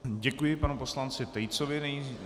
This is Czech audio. Děkuji panu poslanci Tejcovi.